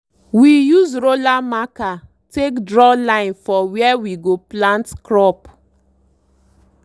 we use roller marker take draw line for where we go plant crop.